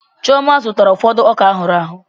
Chioma zụtara ụfọdụ ọka ahuru ahu